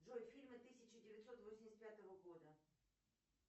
джой фильмы тысяча девятьсот восемьдесят пятого года